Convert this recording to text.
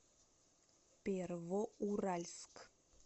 первоуральск